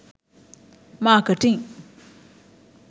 marketing